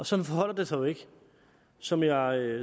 sådan forholder det sig jo ikke som jeg